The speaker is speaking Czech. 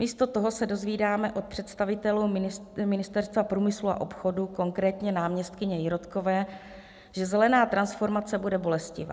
Místo toho se dozvídáme od představitelů Ministerstva průmyslu a obchodu, konkrétně náměstkyně Jirotkové, že zelená transformace bude bolestivá.